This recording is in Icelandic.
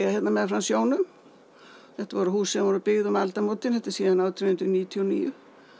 hérna meðfram sjónum þetta voru hús sem voru byggð um aldamótin þetta er síðan átján hundruð níutíu og níu